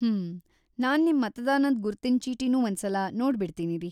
ಹ್ಮ್.. ನಾನ್ ನಿಮ್ ಮತದಾನದ್ ಗುರ್ತಿನ್ ಚೀಟಿನೂ ಒಂದ್ಸಲ ನೋಡ್ಬಿಡ್ತೀನಿರಿ.